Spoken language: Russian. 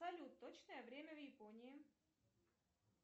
салют точное время в японии